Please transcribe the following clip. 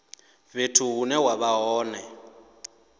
fhethu hune wa vha hone